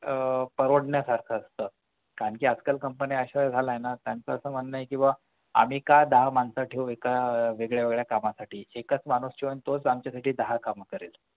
आह परवडण्यासारख असतं कारण कि आजकाल company असं झालंय ना त्यांच असं म्हणणं आहे कि आम्ही का दहा मानसं ठेवू एका वेगवेगळ्या कामांसाठी एकंच माणूस ठेवून तोच आमच्यासाठी दहा कामं करेल